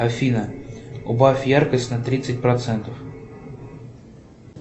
афина убавь яркость на тридцать процентов